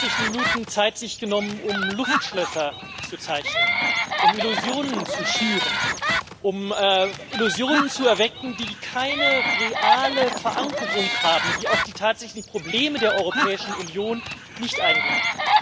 Sie haben sich 60 Minuten Zeit genommen, um Luftschlösser zu zeichnen, um Illusionen zu schüren, um Illusionen zu erwecken, die keine reale Verankerung haben, die auf die tatsächlichen Probleme der Europäischen Union nicht eingehen.